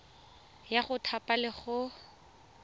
ya go thapa le go